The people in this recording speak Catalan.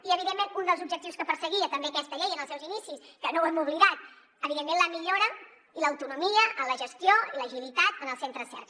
i evidentment un dels objectius que perseguia també aquesta llei en els seus inicis que no ho hem oblidat evidentment la millora i l’autonomia en la gestió i l’agilitat en els centres cerca